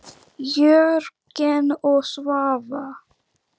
Jörgen og Svava.